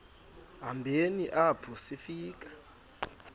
hambeni apho sifika